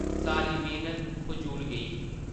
सारी मेहनत फजूल गेई ही ।